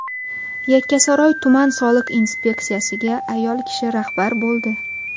Yakkasaroy tuman soliq inspeksiyasiga ayol kishi rahbar bo‘ldi.